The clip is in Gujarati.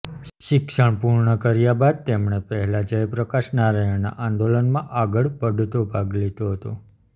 શિક્ષણ પૂર્ણ કર્યાં બાદ તેમણે પહેલાં જયપ્રકાશ નારાયણના આંદોલનમાં આગળ પડતો ભાગ લીધો હતો